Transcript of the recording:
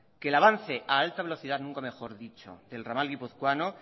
que el avance a alta velocidad nunca mejor dicho del ramal guipuzcoano